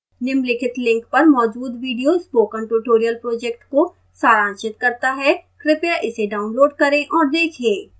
निम्नलिखित link पर मौजूद video spoken tutorial project को सारांशित करता है कृपया इसे डाउनलोड करें और देखें